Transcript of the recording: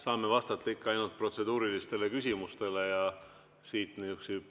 Saan vastata ikka ainult protseduurilistele küsimustele ja siit nihukesi …